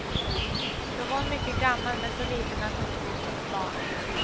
Då var hon mycket gammal, men så liten att hon såg ut som ett barn.